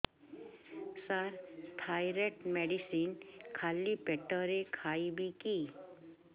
ସାର thyroid medicine ଖାଲି ପେଟରେ ଖାଇବି କି